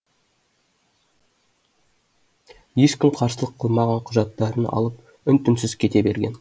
ешкім қарсылық қылмаған құжаттарын алып үн түнсіз кете берген